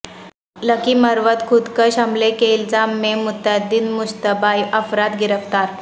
لکی مروت خودکش حملے کے الزام میں متعدد مشتبہ افراد گرفتار